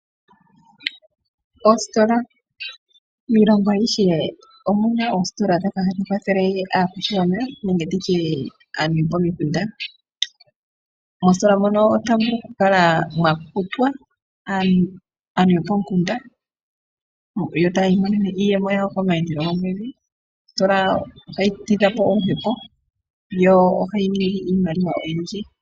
Ositola miilongo ayihe omu na oositola ndhoka hadhi kwathele aantu yopomikunda. Moositola mono otamu vulu okukala mwa kutwa aantu yopomukunda yo taya imonene iiyemo yawo komayandele gomwedhi. Ositola ohayi tidha po oluhepo, yo ohayi ningi iimaliwa oyindji.